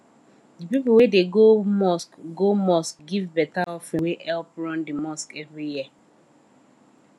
the people wey dey go mosque go mosque give better offering wey help run the mosque every year